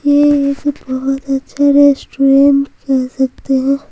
ये एक बहुत अच्छा रेस्टोरेंट कह सकते हैं।